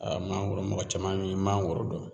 mangoro mɔgɔ caman bi mangoro dɔn.